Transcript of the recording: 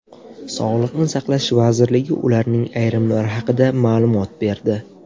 Sog‘liqni saqlash vazirligi ularning ayrimlari haqida ma’lumot berdi .